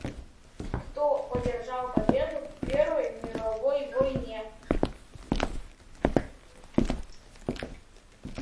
кто одержал победу в первой мировой войне